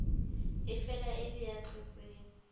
efela e le ya tlotseng